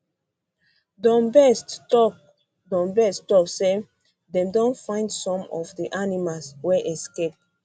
donbest tok donbest tok say um dem don find some of di animals um wey escape